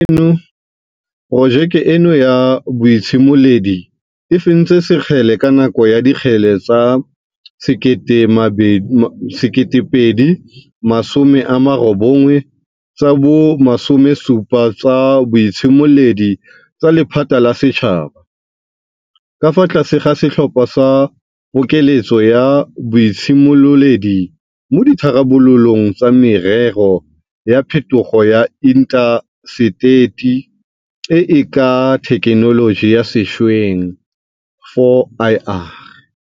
Porojeke eno ya boitshimoledi e fentse sekgele ka nako ya Dikgele tsa 2019 tsa bo 17 tsa Boitshimoledi tsa Lephata la Setšhaba, ka fa tlase ga setlhopha sa Pokeletso ya Boitshimololedi mo Ditharabololong tsa Merero ya Phetogo ya Inta seteri e e ka ga Thekenoloji ya Sešweng, 4IR.